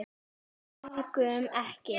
Borgum Ekki!